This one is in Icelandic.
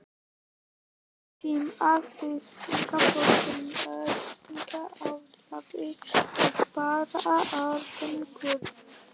Um tíma virtist þó sem meðferðin ætlaði að bera árangur.